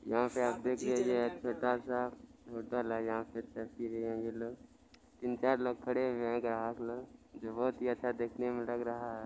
यहाँ पे आप देख लीजिए तीन चार लोग खड़े है ग्राहक लोग जो बोहत ही अच्छा देखने मे लग रहा है।